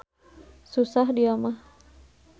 Susah dia mah.